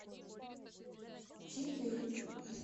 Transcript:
читы